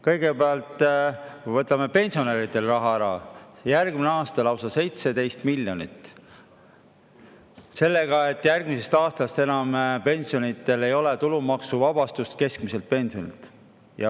Kõigepealt võtame pensionäridelt raha ära – järgmisel aastal lausa 17 miljonit – sellega, et järgmisest aastast enam pensionidel ei ole keskmise pensioni tulumaksuvabastust.